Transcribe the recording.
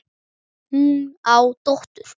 Hún á dóttur.